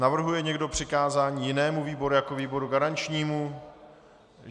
Navrhuje někdo přikázání jinému výboru jako výboru garančnímu?